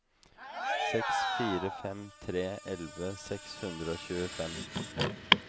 seks fire fem tre elleve seks hundre og tjuefem